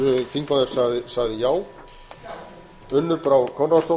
ekki að gera það þá er hann að misskilja sitt hlutverk